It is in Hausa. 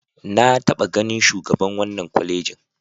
Na taɓa ganin shugaban wannan kwalejin.